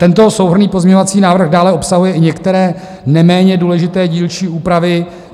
Tento souhrnný pozměňovací návrh dále obsahuje i některé neméně důležité dílčí úpravy.